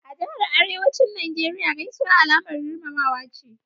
A Jahar Arewacin Najeriya Gaisuwa Alamar girmamawa ce.